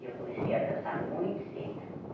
E eu comecei a dançar muito cedo.